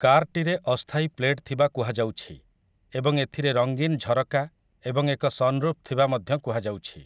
କାର୍‌ଟିରେ ଅସ୍ଥାୟୀ ପ୍ଲେଟ୍ ଥିବା କୁହାଯାଉଛି ଏବଂ ଏଥିରେ ରଙ୍ଗୀନ୍ ଝରକା ଏବଂ ଏକ ସନ୍ରୁଫ୍ ଥିବା ମଧ୍ୟ କୁହାଯାଉଛି ।